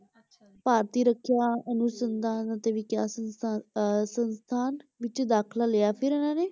ਭਾਰਤੀ ਰੱਖਿਆ ਅਨੁਸੰਧਾਨ ਅਤੇ ਵਿਕਾਸ ਸੰਸਥਾਨ ਅਹ ਸੰਸਥਾਨ ਵਿੱਚ ਦਾਖਲਾ ਲਿਆ ਫਿਰ ਇਹਨਾਂ ਨੇ